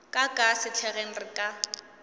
ka ka sehlageng re ka